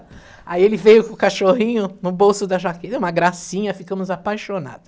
Aí ele veio com o cachorrinho no bolso da jaqueta, uma gracinha, ficamos apaixonados.